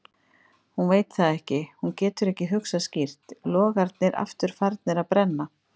Hún veit það ekki, hún getur ekki hugsað skýrt, logarnir aftur farnir að brenna.